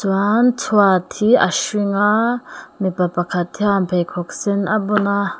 chuan chhuat hi a hring a mipa pakhat hian mipa pakhat hian pheikhawk sen a bun a.